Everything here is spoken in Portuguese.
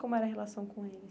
Como era a relação com eles?